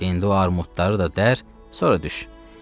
İndi o armudları da dərr, sonra düş.